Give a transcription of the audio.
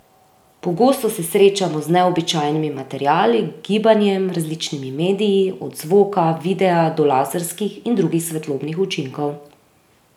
Pogosto se srečamo z neobičajnimi materiali, gibanjem, različnimi mediji, od zvoka, videa, do laserskih in drugih svetlobnih učinkov.